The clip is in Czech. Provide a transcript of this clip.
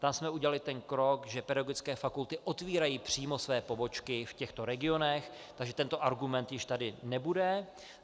Tam jsme udělali ten krok, že pedagogické fakulty otvírají přímo své pobočky v těchto regionech, takže tento argument už tady nebude.